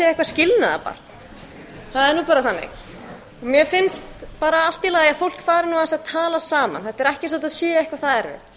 ég segi eitthvert skilnaðarbarn það er bara þannig mér finnst allt í lagi að fólk fari aðeins að tala saman þetta er ekki eins og þetta sé